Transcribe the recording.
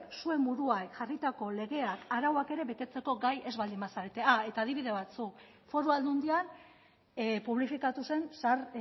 zuen buruari jarritako legeak arauak ere betetzeko ere gai ez baldin bazarete adibide batzuk foru aldundian publifikatu zen zahar